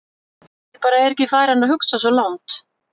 Ég bara er ekki farinn að hugsa svo langt.